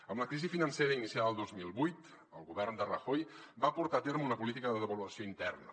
amb la crisi financera iniciada el dos mil vuit el govern de rajoy va portar a terme una política de devaluació interna